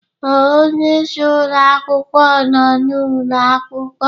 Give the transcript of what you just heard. Ee, onye isi ụlọ akwụkwọ nọ n'ụlọ akwụkwọ